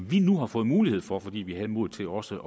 vi nu har fået mulighed for fordi vi havde modet til også